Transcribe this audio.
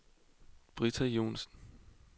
Britta Joensen